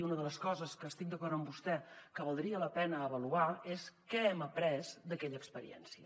i una de les coses estic d’acord amb vostè que valdria la pena avaluar és què hem après d’aquella experiència